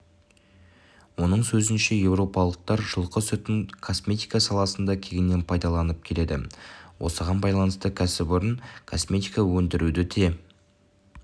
оның сөзінше еуропалықтар жылқы сүтін косметика саласында кеңінен пайдаланып келеді осыған байланысты кәсіпорын косметика өндіруді де